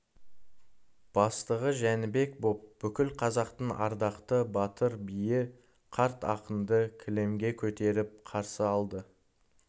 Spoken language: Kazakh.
бастығы жәнібек боп бүкіл қазақтың ардақты батыр биі қарт ақынды кілемге көтеріп қарсы алды